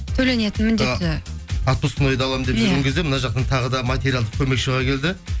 төленетін міндетті отпускнойды аламын деп жүрген кезде мына жақтан тағы да материалдық көмек шыға келді